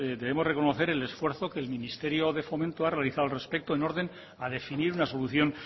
debemos de reconocer el esfuerzo que el ministerio de fomento ha realizado al respecto en orden a definir una solución